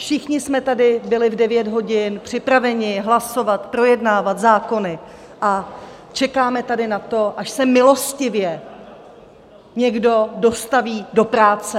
Všichni jsme tady byli v 9 hodin připraveni hlasovat, projednávat zákony, a čekáme tady na to, až se milostivě někdo dostaví do práce.